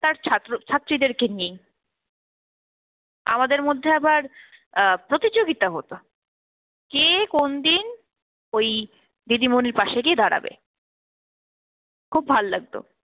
তার ছাত্র ছাত্রীদেরকে নিয়েই। আমাদের মধ্যে আবার অ্যাঁ প্রতিযোগিতা হতো, কে কোন দিন ওই দিদিমণির পাশে গিয়ে দাঁড়াবে। খুব ভাল লাগতো